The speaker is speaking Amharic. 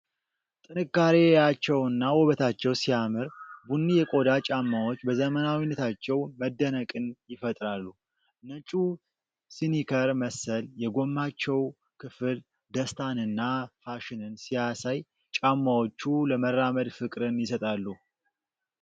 ጥንካሬያቸውና ውበታቸው ሲያምር፣ ቡኒ የቆዳ ጫማዎች በዘመናዊነታቸው መደነቅን ይፈጥራሉ። ነጩ ስኒከር መሰል የጎማቸው ክፍል ደስታንና ፋሽንን ሲያሳይ፣ ጫማዎቹ ለመራመድ ፍቅርን ይሰጣሉ።